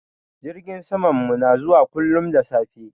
Jirgin samanmu na zuwa kullum da safe.